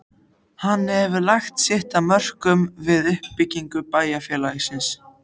Hann hefur lagt sitt af mörkum við uppbyggingu bæjar- félagsins.